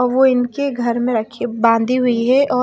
वो इनके घर में रखी बांधी हुई है और--